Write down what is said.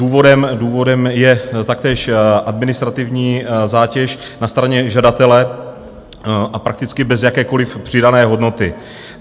Důvodem je taktéž administrativní zátěž na straně žadatele, a prakticky bez jakékoliv přidané hodnoty.